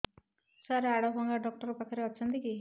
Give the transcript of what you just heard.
ସାର ହାଡଭଙ୍ଗା ଡକ୍ଟର ପାଖରେ ଅଛନ୍ତି କି